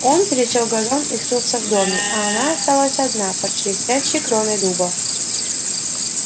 он пересёк газон и скрылся в доме и она осталась одна под шелестящей кроной дуба